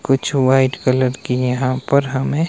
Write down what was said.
कुछ white colour की यहां पर हमें--